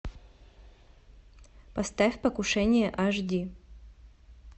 поставь покушение аш ди